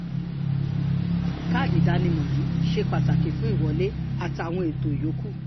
káàdì ìdánimọ̀ yín ṣe pàtàkì fún ìwọlé àtàwọn ètò yòókù